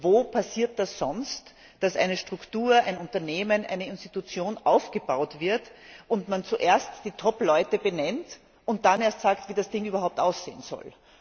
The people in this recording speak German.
Wo passiert es sonst, dass eine Struktur, ein Unternehmen, eine Institution aufgebaut wird und man zuerst die Topleute benennt und dann erst sagt, wie das Ding überhaupt aussehen soll?